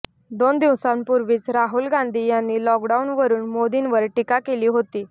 दोन दिवसांपूर्वीच राहुल गांधी यांनी लॉकडाउनवरून मोदींवर टीका केली होती